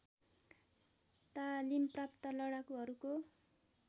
तालिम प्राप्त लडाकुहरूको